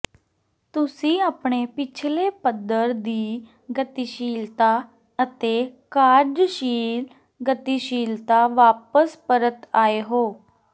ਤੁਸੀਂ ਆਪਣੇ ਪਿਛਲੇ ਪੱਧਰ ਦੀ ਗਤੀਸ਼ੀਲਤਾ ਅਤੇ ਕਾਰਜਸ਼ੀਲ ਗਤੀਸ਼ੀਲਤਾ ਵਾਪਸ ਪਰਤ ਆਏ ਹੋ